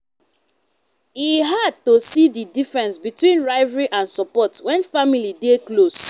e hard to see di difference between rivalry and support when family dey close.